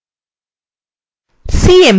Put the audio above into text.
cmp command